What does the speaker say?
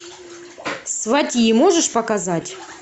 сватьи можешь показать